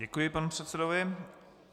Děkuji panu předsedovi.